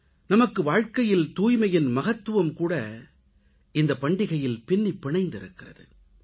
நமது வாழ்க்கையில் தூய்மையின் மகத்துவமும் கூட இந்த பண்டிகையில் பின்னிப் பிணைந்திருக்கிறது